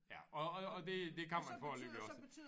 Ja og og og det det kan man jo foreløbig også